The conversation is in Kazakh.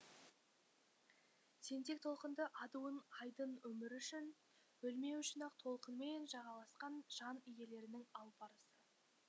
тентек толқынды адуын айдын өмір үшін өлмеу үшін ақ толқынмен жағаласқан жан иелерінің алпарысы